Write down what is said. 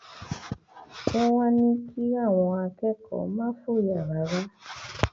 wọn wàá ní kí àwọn akẹkọọ má fòyà rárá